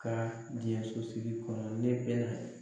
Ka diɲɛ sosigi kɔnɔ ne bɛna